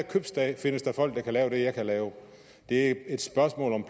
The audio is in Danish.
købstad findes der folk der kan lave det jeg kan lave det er et spørgsmål om